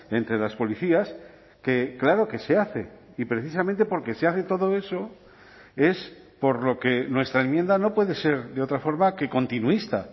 entre las policías que claro que se hace y precisamente porque se hace todo eso es por lo que nuestra enmienda no puede ser de otra forma que continuista